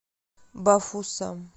бафусам